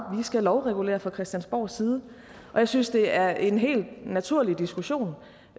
skal lovregulere fra christiansborgs side og jeg synes det er en helt naturlig diskussion